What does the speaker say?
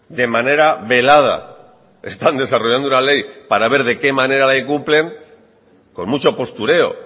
de manera velada están desarrollando una ley para ver de qué manera la incumplen con mucho postureo